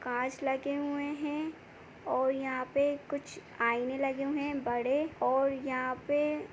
कांच लगे हुए है और यहाँ पे कुछ आईने लगे हुए है बड़े और यहाँ पे--